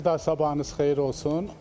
Bir daha sabahınız xeyir olsun.